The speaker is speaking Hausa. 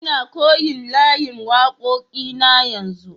Nna koyon layin wakoki na yanzu.